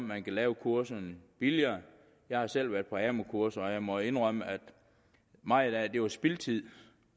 man kan lave kurserne billigere jeg har selv været på amu kurser og jeg må indrømme at meget af det var spildtid